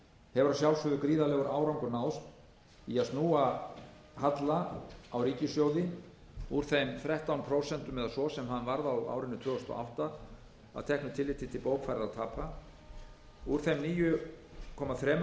hefur að sjálfsögðu gríðarlegur árangur náðst í að snúa halla á ríkissjóði úr þeim þrettán prósent eða svo sem hann varð á árinu tvö þúsund og átta að teknu tilliti til bókfærðra tapa úr þeim níu komma þrjú prósent af vergri landsframleiðslu